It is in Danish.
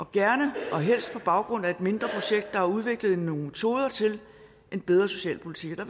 gerne og helst på baggrund af et mindre projekt der har udviklet nogle metoder til en bedre socialpolitik og